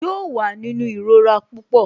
Yóò wà nínú ìrora pupọ